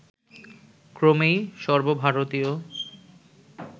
ক্রমেই সর্বভারতীয়